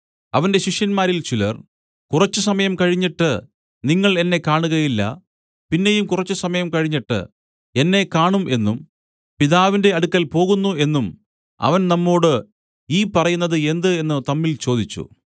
അവന്റെ ശിഷ്യന്മാരിൽ ചിലർ കുറച്ചുസമയം കഴിഞ്ഞിട്ട് നിങ്ങൾ എന്നെ കാണുകയില്ല പിന്നെയും കുറച്ചുസമയം കഴിഞ്ഞിട്ട് എന്നെ കാണും എന്നും പിതാവിന്റെ അടുക്കൽ പോകുന്നു എന്നും അവൻ നമ്മോടു ഈ പറയുന്നത് എന്ത് എന്നു തമ്മിൽ ചോദിച്ചു